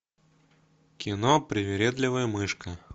кино привередливая мышка